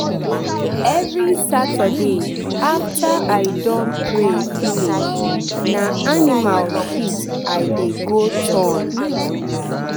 every saturday after i don pray finish na animal shit i dey go turn.